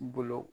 Bolo